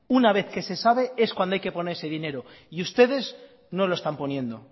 una vez que se sabe es cuando hay que poner ese dinero y ustedes no lo están poniendo